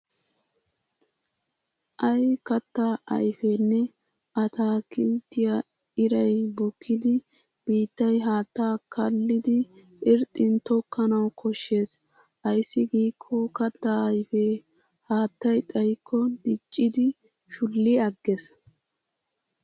Ay kattaa ayfenne ataakilttiya iray bukkidi biittay haattaa kaallidi irxxin tokkanawu koshshes. Ayssi giikko kattaa ayfee haattay xayikko dicciiddi shulli agges.